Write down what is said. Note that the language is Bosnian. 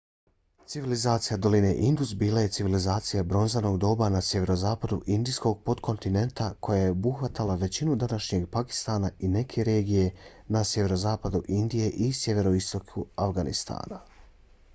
civilizacija doline indus bila je civilizacija bronzanog doba na sjeverozapadu indijskog potkontinenta koja je obuhvatala većinu današnjeg pakistana i neke regije na sjeverozapadu indije i sjeveroistoku afganistana